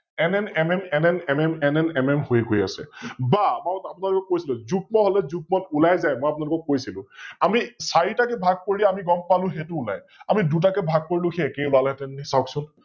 NNMNNNMNNNMN হৈ গৈ আছে, বা অলপ আগত আপোনালোকক কৈছিলোয়ে যুগ্ম হলে যুগ্মত ওলাই যায়, মই অপোনালোকক কৈছিলো, আমি চাৰিটা কৈ ভাগ কৰি গম পালো সৈটো ওলাই । আমি দুটাকৈ ভাগ কৰিলেও সৈ একে ওলালেহেতেন নে চাওক চোন ।